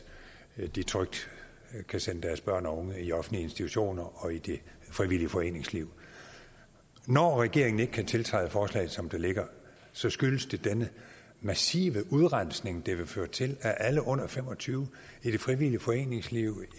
de trygt kan sende deres børn og unge i offentlige institutioner og i det frivillige foreningsliv når regeringen ikke kan tiltræde forslaget som det ligger så skyldes det denne massive udrensning det vil føre til af alle under fem og tyve år i det frivillige foreningsliv og